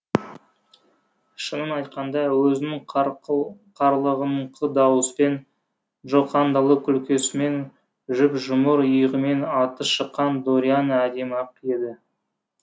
шынын айтқанда өзінің қарлығыңқы даусымен джокандалық күлкісімен жұп жұмыр иығымен аты шыққан дорианна әдемі ақ еді